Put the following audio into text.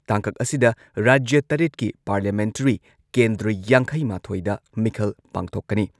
ꯇꯥꯡꯀꯛ ꯑꯁꯤꯗ ꯔꯥꯖ꯭ꯌ ꯇꯔꯦꯠꯀꯤ ꯄꯥꯔꯂꯤꯌꯥꯃꯦꯟꯇꯔꯤ ꯀꯦꯟꯗ꯭ꯔ ꯌꯥꯡꯈꯩꯃꯥꯊꯣꯏꯗ ꯃꯤꯈꯜ ꯄꯥꯡꯊꯣꯛꯀꯅꯤ꯫